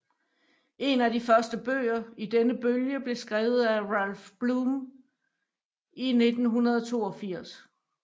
En af de første bøger i denne bølge blev skrevet af Ralph Blum i 1982